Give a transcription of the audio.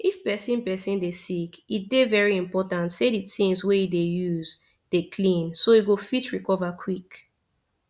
if person person dey sick e dey very important say the things wey e dey use dey clean so e go fit recover quick